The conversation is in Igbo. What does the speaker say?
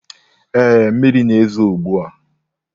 Ee, mmiri na-ezo ugbu a.